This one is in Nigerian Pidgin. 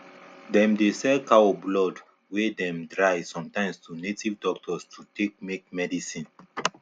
dem dey sell cow blood wey dem dry sometimes to native doctors to take make medicine